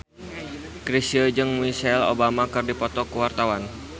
Chrisye jeung Michelle Obama keur dipoto ku wartawan